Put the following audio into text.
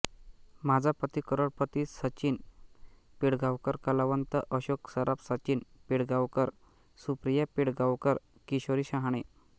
माझा पती करोडपतीसचिन पिळगावकर कलावंत अशोक सराफ सचिन पिळगांवकर सुप्रिया पिळगांवकर किशोरी शहाणे